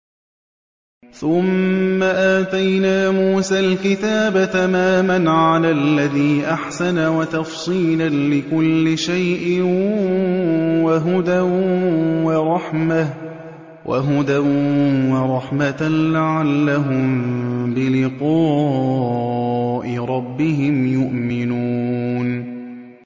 ثُمَّ آتَيْنَا مُوسَى الْكِتَابَ تَمَامًا عَلَى الَّذِي أَحْسَنَ وَتَفْصِيلًا لِّكُلِّ شَيْءٍ وَهُدًى وَرَحْمَةً لَّعَلَّهُم بِلِقَاءِ رَبِّهِمْ يُؤْمِنُونَ